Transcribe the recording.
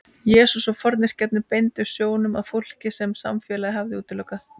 Jesús og fornkirkjan beindu sjónum að fólki sem samfélagið hafði útilokað.